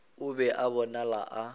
o be a bonala a